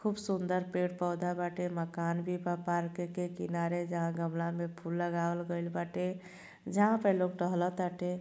खुब सुंदर पेड़ पौधा बाटे। मकान भी बा। पार्क के किनारे जहाँ गमला में फूल लगावल गइल बाटे जहाँ पे लोग टहल ताटे।